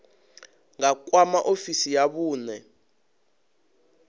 nga kwama ofisi ya vhune